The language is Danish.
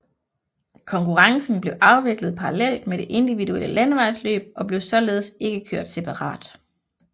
Konkurrencen blev afviklet parallelt med det individuelle landevejsløb og blev således ikke kørt separat